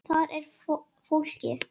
Þar er fólkið.